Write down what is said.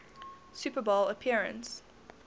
super bowl appearance